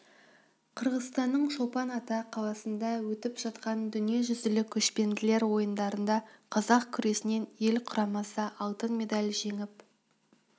қырғызстанның чолпан ата қаласында өтіп жатқан дүниежүзілік көшпенділер ойындарында қазақ күресінен ел құрамасы алтын медаль жеңіп